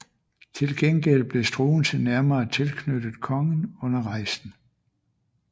Til gengæld blev Struensee nærmere tilknyttet kongen under rejsen